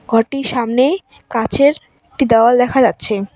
ঘরটির সামনে কাচের একটি দেওয়াল দেখা যাচ্ছে।